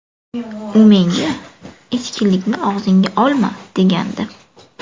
U menga ‘ichkilikni og‘zingga olma’ degandi.